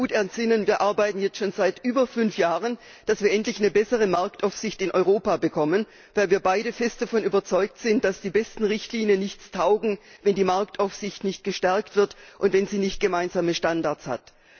Ich kann mich gut entsinnen wir arbeiten jetzt schon seit über fünf Jahren daran, dass wir endlich eine bessere Marktaufsicht in Europa bekommen, weil wir beide fest davon überzeugt sind, dass die besten Richtlinien nichts taugen, wenn die Marktaufsicht nicht gestärkt wird und wenn sie nicht gemeinsame Standards hat.